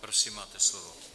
Prosím, máte slovo.